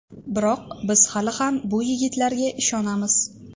Biroq biz hali ham bu yigitlarga ishonamiz.